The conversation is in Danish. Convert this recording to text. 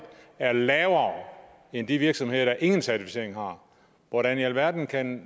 er lavere end i de virksomheder der ingen certificering har hvordan i alverden kan